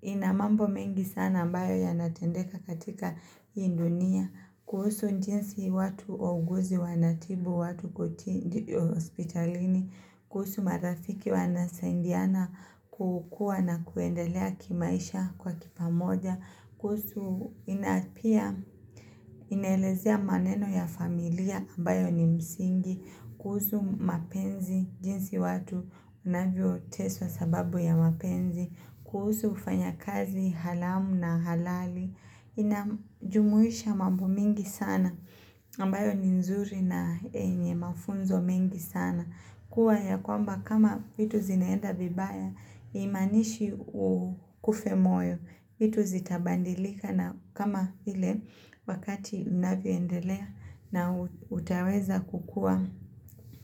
ina mambo mengi sana ambayo yanatendeka katika hii dunia, kuhusu jinsi watu wauguzi wanatibu, watu kuti hospitalini, kuhusu marafiki wanasaidiana kukua na kuendelea kimaisha kwa kipamoja, kuhusu na pia inaelezea maneno ya familia ambayo ni msingi, kuhusu mapenzi jinsi watu wanavyoteswa sababu ya mapenzi, kuhusu ufanyakazi halamu na halali inajumuisha mambo mingi sana ambayo ni nzuri na yenye mafunzo mengi sana. Kuwa ya kwamba kama vitu zinaenda vibaya, haimaanishi ukufe moyo. Vitu zitabadilika na kama ile wakati unavyoendelea na utaweza kukua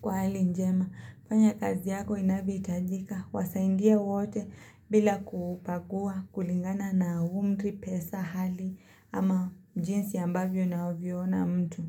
kwa hali njema. Fanya kazi yako inavyohitajika. Wasaidie wote bila kubagua kulingana na umri, pesa, hali ama jinsi ambavyo unavyoona mtu.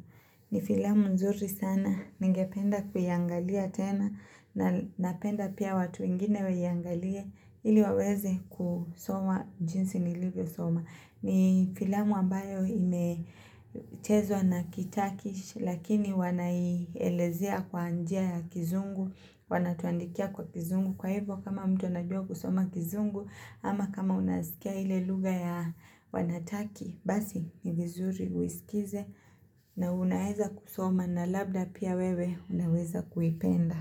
Ni filamu nzuri sana. Ningependa kuiangalia tena. Na napenda pia watu wengine waiangalie ili waweze kusoma jinsi nilivyosoma. Ni filamu ambayo imechezwa na kiturkish lakini wanaielezea kwa njia ya kizungu, wanatuandikia kwa kizungu. Kwa hivyo kama mtu anajua kusoma kizungu ama kama unasikia ile lugha ya wanataki, basi ni vizuri uiskize na unaeza kusoma na labda pia wewe unaweza kuipenda.